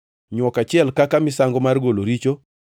nywok achiel kaka misango mar golo richo;